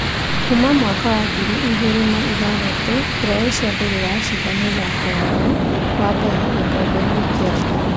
Kuma mwaka wa ngiri igĩrĩ na ithathatũ, Croatia ndĩrĩ yacinda mũthako wao wa mbere gĩkombe-inĩ kĩa thĩ.